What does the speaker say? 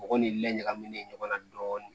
Mɔgɔ ni laɲalen ɲɔgɔn na dɔɔni